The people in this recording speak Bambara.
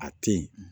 A tɛ ye